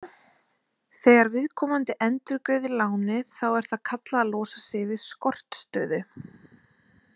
Þegar viðkomandi endurgreiðir lánið þá er það kallað að losa sig úr skortstöðu.